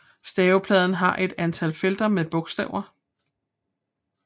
Stavepladen har et antal felter med bogstaver